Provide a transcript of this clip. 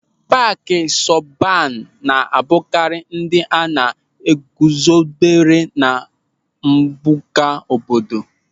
Paaki sọban na-abụkarị ndị e guzobere na mpụga obodo.